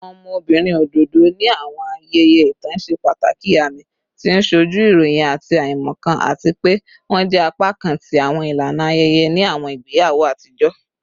Awọn ọmọbirin ododo ni awọn ayẹyẹ itan ṣe pataki aami, ti o nsoju irọyin ati aimọkan, ati pe wọn jẹ apakan ti awọn ilana ayẹyẹ ni awọn igbeyawo atijọ